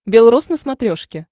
бел роз на смотрешке